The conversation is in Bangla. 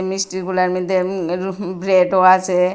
মিষ্টিগুলার মইদ্যে উম এর হুম ব্রেডও আছে।